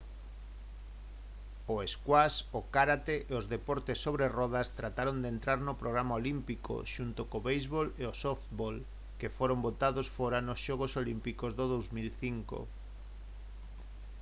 o squash o karate e os deportes sobre rodas trataron de entrar no programa olímpico xunto co béisbol e o softball que foron botados fóra nos xogos olímpicos do 2005